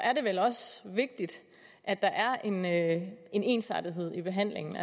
er det vel også vigtigt at der er en ensartethed i behandlingen